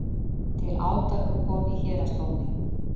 Til átaka kom í héraðsdómi